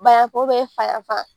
Bana ko be fafa